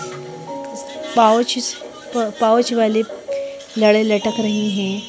Pouch pouch वाले लड़े लटक रही हैं।